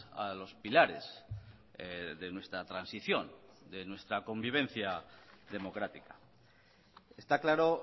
a los pilares de nuestra transición de nuestra convivencia democrática está claro